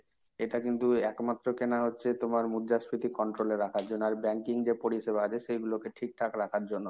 এটা কিন্তু একমাত্র কেনা হচ্ছে তোমার মুদ্রাস্ফীতি control এ রাখার জন্য। আর তোমার banking যে পরিষেবা আছে সেগুলোকে ঠিকঠাক রাখার জন্য।